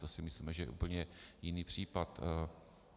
To si myslím, že je úplně jiný případ.